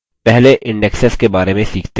पहले indexes के बारे में सीखते हैं